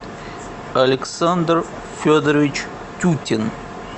александр федорович тютин